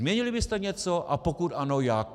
Změnili byste něco, a pokud ano, jak?